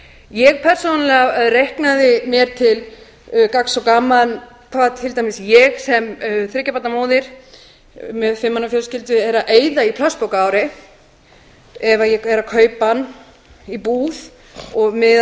ég persónulega reiknaði mér til gagns og gamans hvað til dæmis ég sem þriggja barna móðir með fimm manna fjölskyldu er að eyða í plastpoka á ári ef ég er að auka hann í búð og miðað